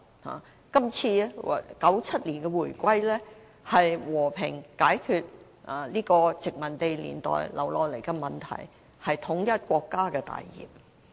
香港在1997年回歸中國，和平解決殖民地年代遺留的問題，是統一國家的大業。